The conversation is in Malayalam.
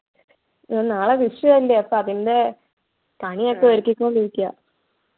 നാളെ വിഷു അല്ലെ അപ്പൊ അതിൻ്റെ പണിയൊക്കെ ഒരുക്കിക്കൊണ്ടിരിക്കാ